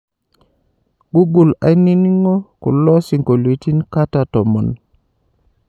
google ainingo kulo siongolitin kata tomon